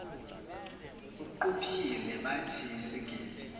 uquphile bathi izigidi